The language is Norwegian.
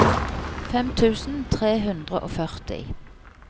fem tusen tre hundre og førti